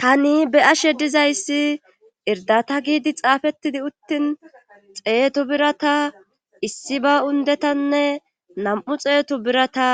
Tani be7ashe dizayssi irdata giidi xaafettidi uttin xeetu birata issi ba undetanne nam7u xeetu birata